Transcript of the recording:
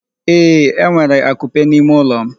Ee, enwere akupe n'ime ụlọ m.